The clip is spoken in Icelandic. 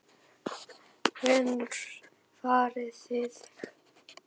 Hvenær farið þið?